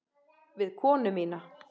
Við konu mína.